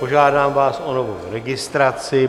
Požádám vás o novou registraci.